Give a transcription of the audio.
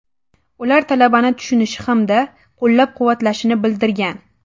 Ular talabani tushunishi hamda qo‘llab-quvvatlashini bildirgan.